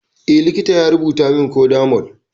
Eh, likita ya rubutamin codamol